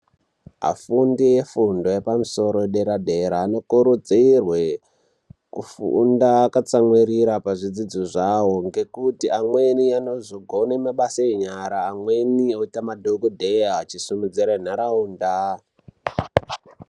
Afundi efundo yepamusoro yederadera inokurudzirwe kufunda akatsamwirira pazvidzidzo zvawo, ngekuti amweni anozogone mabasa enyara, amweni oita madhokodheya achisumudzire nharaunda.